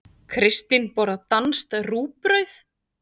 Kristín borðar danskt rúgbrauð.